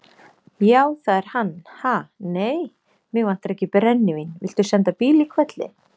Já, það er hann, ha, nei, mig vantar ekki brennivín, viltu senda bíl í hvelli.